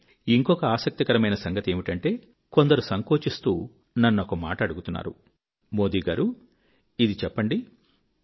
కానీ ఇంకొక ఆసక్తి కరమైన సంగతి ఏమిటంటే కొందరు సంకోచిస్తూ నన్నొక మాట అడుగుతున్నారు మోదీగారు ఇది చెప్పండి